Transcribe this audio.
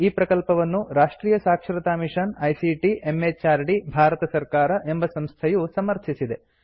ಈ ಪ್ರಕಲ್ಪವನ್ನು ರಾಷ್ಟ್ರಿಯ ಸಾಕ್ಷರತಾ ಮಿಷನ್ ಐಸಿಟಿ ಎಂಎಚಆರ್ಡಿ ಭಾರತ ಸರ್ಕಾರ ಎಂಬ ಸಂಸ್ಥೆಯು ಸಮರ್ಥಿಸಿದೆ